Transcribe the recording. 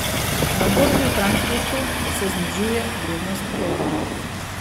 Na borzi v Frankfurtu se znižuje vrednost evra.